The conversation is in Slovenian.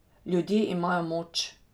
Ljudje imajo moč!